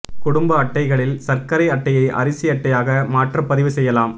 குடும்ப அட்டைகளில் சா்க்கரை அட்டையை அரிசி அட்டையாக மாற்றப் பதிவு செய்யலாம்